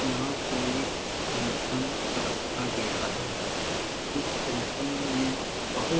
यहाँ कोई फंक्शन रखा गया है। इस फंक्शन मे बहुत--